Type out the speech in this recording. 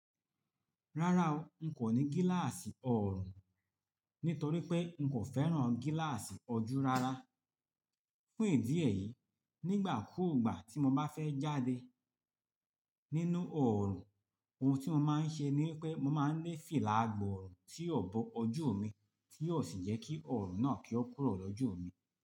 Rárá o, n kò ní gíláàsì ọ̀ọ̀rùn nítorí pé n kò fẹ́ràn gíláàsì ọjú rárá. Fún ìdí èyí, nígbà kúùgbà tí mo bá fẹ́ jáde nínú ọ̀ọ̀rùn, ohun tí mo máa ń ṣe ni pé mo máa ń lé fìlà gbọ̀ọ̀rùn tí yóò bo ojú mi tí yóò sì jẹ́ kí ọ̀ọ̀rùn náà kí ó kúrò lọ́jú mi.